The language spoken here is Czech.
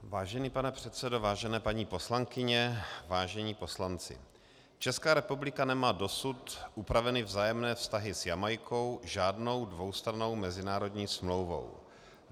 Vážený pane předsedo, vážené paní poslankyně, vážení poslanci, Česká republika nemá dosud upraveny vzájemné vztahy s Jamajkou žádnou dvoustrannou mezinárodní smlouvou.